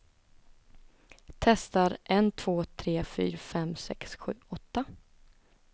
Testar en två tre fyra fem sex sju åtta.